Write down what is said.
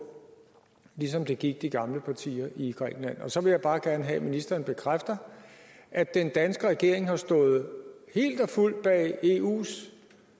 ligesom det gik de gamle partier i grækenland og så vil jeg bare gerne have at ministeren bekræfter at den danske regering jo har stået helt og fuldt bag eus